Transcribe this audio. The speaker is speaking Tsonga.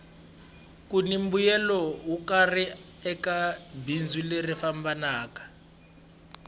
kuni mbuyelo wo karhi eka bindzu leri fambaka